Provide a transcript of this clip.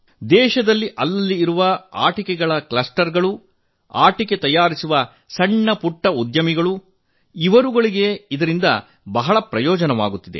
ದೇಶದಲ್ಲಿ ಅಲ್ಲಲ್ಲಿ ಇರುವ ಆಟಿಕೆಗಳ ಕ್ಲಸ್ಟರ್ ಗಳು ಆಟಿಕೆ ತಯಾರಿಸುವ ಸಣ್ಣ ಪುಟ್ಟ ಉದ್ಯಮಿಗಳಿಗೆ ಇದರಿಂದ ಹೆಚ್ಚಿನ ಲಾಭವಾಗುತ್ತಿದೆ